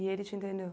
E ele te entendeu?